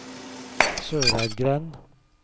Søreidgrend